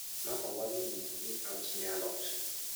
mama wa nonyisa ni ausne alot